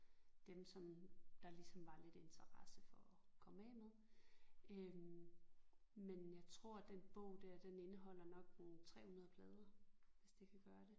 Dem som der ligesom var lidt interesse for at komme af med øh men jeg tror den bog der den indeholder nok en 300 plader hvis det kan gøre det